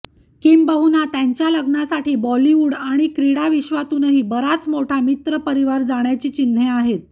किंबहुना त्यांच्या लग्नासाठी बॉलिवूड आणि क्रीडा विश्वातूनही बराच मोठा मित्रपरिवार जाण्याची चिन्हे आहेत